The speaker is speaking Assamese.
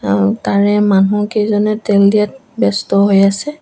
আৰু তাৰে মানুহ কেইজনে তেল দিয়াত ব্যস্ত হৈ আছে।